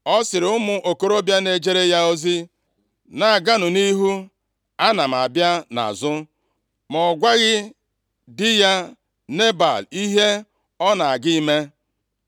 Ọ sịrị ụmụ okorobịa na-ejere ya ozi, “Na-aganụ nʼihu, ana m abịa nʼazụ.” Ma ọ gwaghị di ya Nebal ihe ọ na-aga ime.